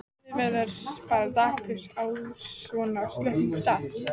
Maður verður bara dapur á svona slöppum stað.